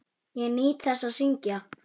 Ég nýt þess að syngja.